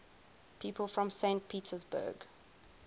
people from saint petersburg